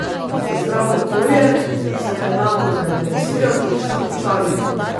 Za zdravo okolje sem enako zainteresiran kot vsi občani.